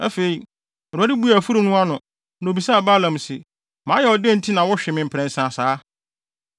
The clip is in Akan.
Afei, Awurade buee afurum no ano, na obisaa Balaam se, “Mayɛ wo dɛn na nti a wohwe me mprɛnsa saa?”